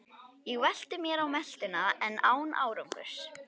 Ég velti mér á meltuna en án árangurs.